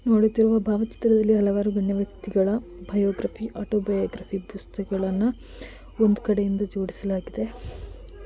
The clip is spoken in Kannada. ಭಾರತದಲ್ಲಿ ಹಲವಾರುನೀವು ಒಂದು ಪುಸ್ತಕಗಳನ್ನು. ದುಒಂದು ಕಡೆಯಿಂದ ಜೋಡಿಸಲಾಗಿದೆ.